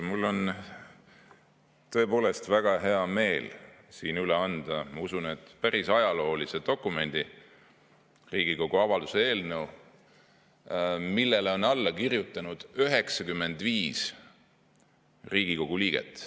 Mul on tõepoolest väga hea meel siin üle anda, ma usun, päris ajalooline dokument: Riigikogu avalduse eelnõu, millele on alla kirjutanud 95 Riigikogu liiget.